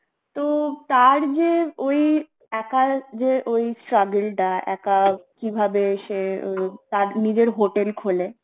তো তার যে ওই একার যে ওই struggle টা একা কিভাবে সে তার নিজের hotel খোলে